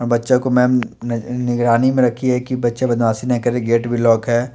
बच्चो को मेम न-नगरानी रखी है की बच्चे बदमाशी ना करे गेट भी लॉक है।